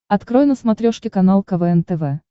открой на смотрешке канал квн тв